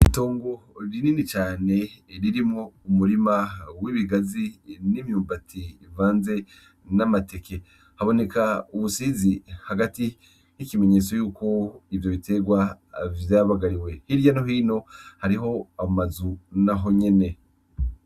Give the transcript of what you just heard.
Itongo rinini cane ririmwo umurima w'ibigazi n'imyumbati bivanze n'amateke. Haboneka ubusizi hagati, ikimenyetso yuko ivyo biterwa vyabagariwe. Hirya no hino hariho amazu nahonyene.